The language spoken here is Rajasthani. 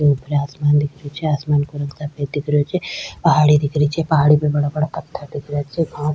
ऊपर आसमान दिख रही छे आसमान को रंग सफेद दिख रो छ पहाड़ी दिख रही छे पहाड़ी पे बड़ा बड़ा पत्थर दिख रा छे घास --